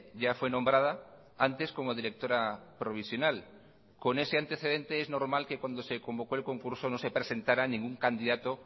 ya fue nombrada antes como directora provisional con ese antecedente es normal que cuando se convocó el concurso no se presentara ningún candidato